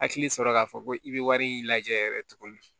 Hakili sɔrɔ k'a fɔ ko i bɛ wari in lajɛ yɛrɛ tuguni